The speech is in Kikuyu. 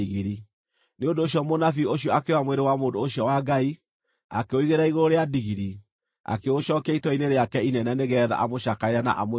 Nĩ ũndũ ũcio mũnabii ũcio akĩoya mwĩrĩ wa mũndũ ũcio wa Ngai, akĩũigĩrĩra igũrũ rĩa ndigiri, akĩũcookia itũũra-inĩ rĩake inene nĩgeetha amũcakaĩre na amũthike.